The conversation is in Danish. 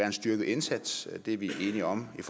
en styrket indsats er vi enige om i